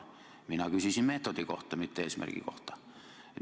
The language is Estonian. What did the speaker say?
Mina küsisin meetodi, mitte eesmärgi kohta.